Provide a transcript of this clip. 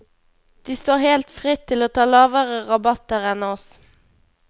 De står helt fritt til å ta lavere rabatter enn oss.